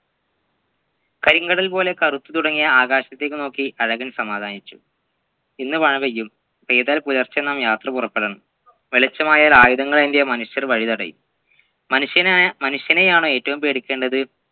കരിങ്കടൽ പോലെ കറുത്തു തുടങ്ങിയ ആകാശത്തേക്ക് നോക്കി അഴകൻ സമാധാനിച്ചു ഇന്നു മഴപെയ്യും പെയ്താൽ പുലർച്ചെ നാം യാത്ര പുറപ്പെടണം വെളിച്ചമായാൽ ആയുധങ്ങൾ ഏന്തിയ മനുഷ്യർ വഴിതടയും മനുഷ്യനായ മനുഷ്യനെയാണോ ഏറ്റവും പേടിക്കേണ്ടത്